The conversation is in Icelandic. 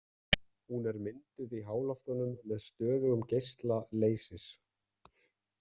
Hún er mynduð í háloftunum með stöðugum geisla leysis.